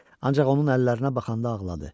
Ancaq onun əllərinə baxanda ağladı.